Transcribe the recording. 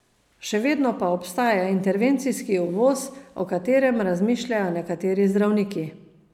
Še vedno pa obstaja intervencijski uvoz, o katerem razmišljajo nekateri zdravniki.